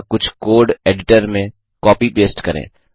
या कुछ code editor में कॉपीपेस्ट करें